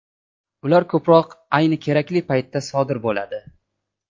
Ular ko‘proq ayni kerakli paytda sodir bo‘ladi.